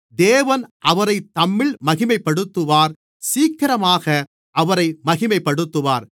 தேவன் அவரில் மகிமைப்பட்டிருந்தால் தேவன் அவரைத் தம்மில் மகிமைப்படுத்துவார் சீக்கிரமாக அவரை மகிமைப்படுத்துவார்